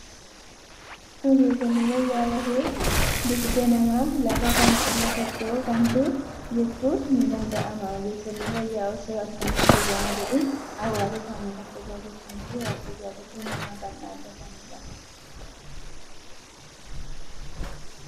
Ogeessonni fayyaa lafee dugdaa nama lafa kana irra socho'uu kamiitu jechuun ni danda'ama. Ogeessonni fayyaa osoo halkanii fi guyyaa hin jedhiin hawaasa isaanii kan tajaajilanii fi waardiyyaa lubbuu namaaf kan dhaabbatanidha.